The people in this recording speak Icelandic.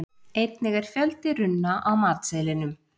Einnig er fjöldi runna á matseðlinum.